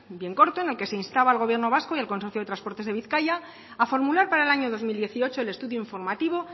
bien corto en el que se instaba al gobierno vasco y al consorcio de transporte de bizkaia a formular para el año dos mil dieciocho el estudio informativo